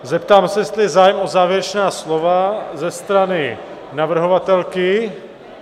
Zeptám se, jestli je zájem o závěrečná slova ze strany navrhovatelky?